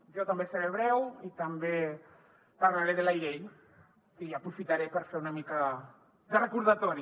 jo també seré breu i també parlaré de la llei i aprofitaré per fer una mica de recordatori